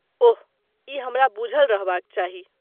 ओह, ई हमरा बुझल रहबाक चाही।